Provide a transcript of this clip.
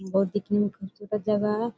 दिखने में खूबसूरत जगह है।